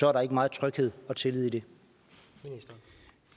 er der ikke meget tryghed og tillid i